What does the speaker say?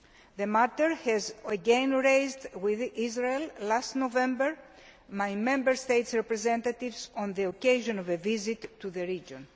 The matter was again raised with Israel last November by Member States' representatives on the occasion of a visit to the region.